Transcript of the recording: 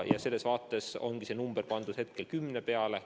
Ja selles vaates ongi piir pandud hetkel kümne peale.